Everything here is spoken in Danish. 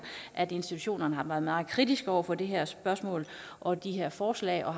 at institutionerne har været meget kritiske over for det her spørgsmål og de her forslag og